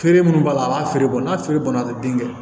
Feere mun b'a la a b'a feere bɔn n'a feere banna a tɛ den kɛ